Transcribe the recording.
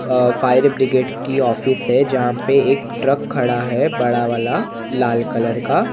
अ fire brigade की office हैं जहाँ पे एक ट्रक खड़ा हैं बड़ा वाला लाल कलर का --